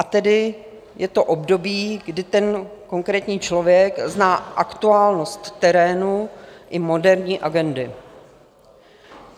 A tedy je to období, kdy ten konkrétní člověk zná aktuálnost terénu i moderní agendy.